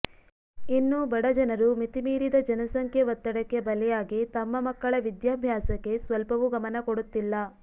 ಇನ್ನೂ ಬಡಜನರು ಮಿತಿಮೀರಿದ ಜನಸಂಖ್ಯೆ ಒತ್ತಡಕ್ಕೆ ಬಲಿಯಾಗಿ ತಮ್ಮ ಮಕ್ಕಳ ವಿದ್ಯಾಭ್ಯಾಸಕ್ಕೆ ಸ್ವಲ್ಪವೂ ಗಮನಕೊಡುತ್ತಿಲ್ಲ